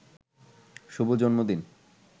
শুভ জন্মদিন